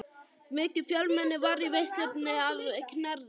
Mikið fjölmenni var í veislunni að Knerri.